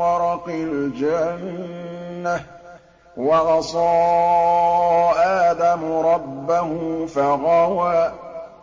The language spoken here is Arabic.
وَرَقِ الْجَنَّةِ ۚ وَعَصَىٰ آدَمُ رَبَّهُ فَغَوَىٰ